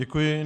Děkuji.